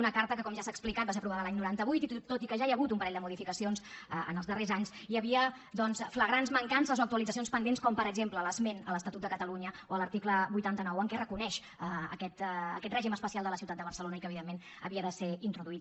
una carta que com ja s’ha explicat va ser aprovada l’any noranta vuit i tot i que ja hi ha hagut un parell de modificacions en els darrers anys hi havia flagrants mancances o actualitzacions pendents com per exemple l’esment a l’estatut de catalunya a l’article vuitanta nou en què es reconeix aquest règim especial de la ciutat de barcelona i que evidentment havia de ser introduït